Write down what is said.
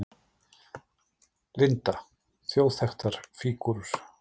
Linda: Þjóðþekktar fígúrur?